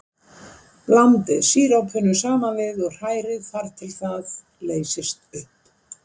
Blandið sírópinu saman við og hrærið þar til það leysist upp.